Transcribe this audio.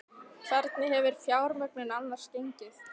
Hvernig hefur fjármögnun annars gengið?